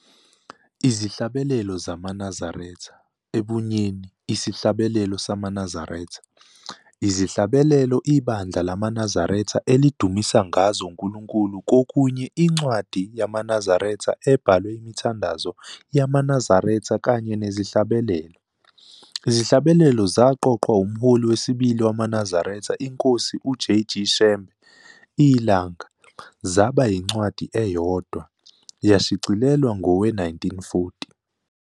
Izihlabelelo ZamaNazaretha, ebunyeni- isihlabelelo samaNazaretha, izihlabelelo ibandla lamaNazaretha elidumisa ngazo uNkulunkulu kokunye incwadi yamaNazaretha ebhalwe imithandazo yamaNazaretha kanye nezihlabelelo. Izihlabelelo zaqoqwa umholi wesibili wamaNazaretha iNkosi uJ. G. Shembe, iLanga, zaba yincwadi eyodwa, yashicilelwa ngowe-1940.